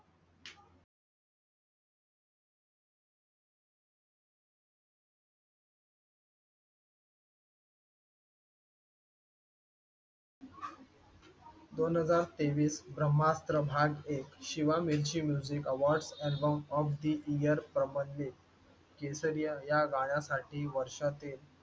दोन हजार तेवीस ब्रह्मास्त्र भाग एक Shiva Mirchi music awards album of the year प्रबंधित केसरीच्या या गाण्यासाठी वर्षातील